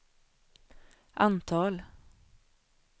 antal